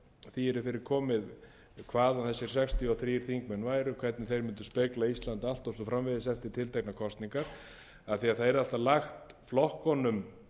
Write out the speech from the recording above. því yrði fyrir komið hvað þessir sextíu og þrír þingmenn væru hvernig þeir mundu spegla ísland allt og svo framvegis eftir tilteknar kosningar af því að það yrði alltaf lagt flokkunum